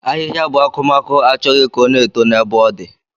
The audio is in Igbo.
Ahihia bu akumaku Achọghị ka o na-eto na ebe o di.